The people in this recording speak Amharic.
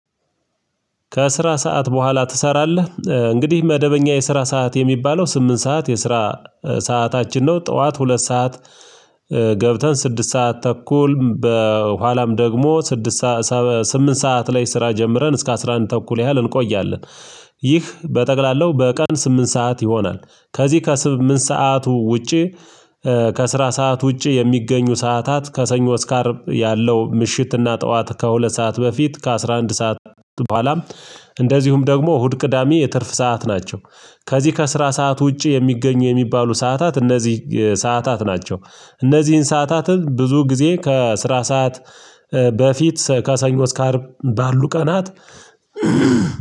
ከስራ ሰዓት በኋላ ትሰራለህ እንግዲህ መደበኛ የስራ ሰዓት የሚባለው ስምንት ሰዓት የስራ ሰዓታችን ነው ጠዋት ሁለት ሰዓት ገብተን ስድስት ሰዓት ተኩል በኋላም ደግሞ ስምንት ሰዓት ላይ ስራ ጀምረን እስከ አስራ አንድ ተኩል ያህል እንቆያለን ይህ በጠቅላላው በቀን ስምንት ሰዓት ይሆናል። ከዚህ ከስምንት ሰዓቱ ውጪ ከስራ ሰዓት ውጪ የሚገኙ ሰዓታት ከሰኞ እስከ አርብ ያለው ምሽትና ጠዋት ከሁለት ሰዓት በፊት ከአስራ አንድ ሰዓት በኋላም እንደዚሁም ደግሞ እሁድ ቅዳሜ የትርፍ ሰዓት ናቸው። ከዚህ ከስራ ሰዓት ውጪ የሚገኙ የሚባሉ ሰዓታት እነዚህ ሰዓታት ናቸው። እነዚህን ሰዓታትን ብዙ ጊዜ ከስራ ሰዓት በፊት ከሰኞ እስከ አርብ ባሉ ቀናት